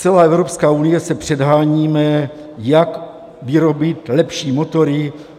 Celá Evropská unie se předháníme, jak vyrobit lepší motory.